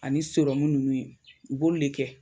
Ani sirɔmu nunnu ye u b'olu de kɛ